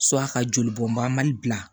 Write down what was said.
a ka joli bɔn ba mali bila